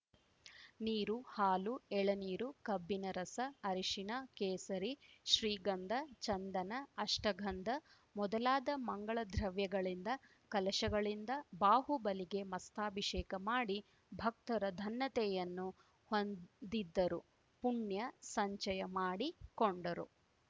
ನೀರು ಹಾಲು ಎಳನೀರು ಕಬ್ಬಿನ ರಸ ಅರಿಶಿನ ಕೇಸರಿ ಶ್ರೀಗಂಧ ಚಂದನ ಅಷ್ಟಗಂಧ ಮೊದಲಾದ ಮಂಗಲ ದ್ರವ್ಯಗಳಿಂದ ಕಲಶಗಳಿಂದ ಬಾಹುಬಲಿಗೆ ಮಸ್ತಾಭಿಷೇಕ ಮಾಡಿ ಭಕ್ತರು ಧನ್ಯತೆಯನ್ನು ಹೊಂದಿದ್ದರು ಪುಣ್ಯ ಸಂಚಯ ಮಾಡಿ ಕೊಂಡರು